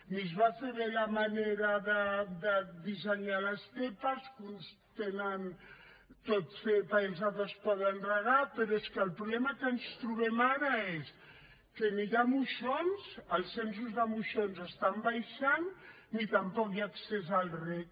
ni es va fer bé la manera de dissenyar les zepa que uns tenen tot zepa i els altres poden regar però és que el problema que ens trobem ara és que ni hi ha moixons els censos de moixons estan baixant ni tampoc hi ha accés al reg